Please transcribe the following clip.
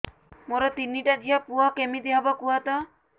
ମୋର ତିନିଟା ଝିଅ ପୁଅ କେମିତି ହବ କୁହତ